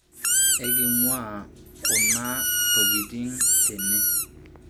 eking'ua kuna tokitin tene